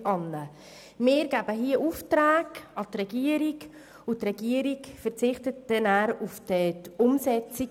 Wir erteilen der Regierung Aufträge, und diese verzichtet anschliessend auf die Umsetzung.